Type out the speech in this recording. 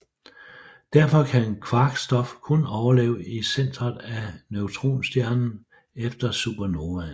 Derfor kan kvark stof kun overleve i centeret af neutronstjernen efter supernovaen